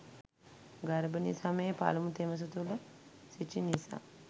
ගර්භණී සමයේ පළමු තෙමස තුළ සිටි නිසා